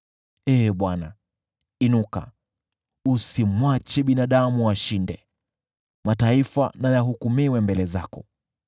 Ee Bwana , inuka, usimwache binadamu ashinde. Mataifa na yahukumiwe mbele zako.